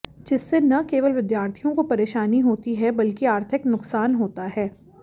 जिससे न केवल विद्यार्थियों को परेशानी होती है बल्कि आर्थिक नुकसान होता है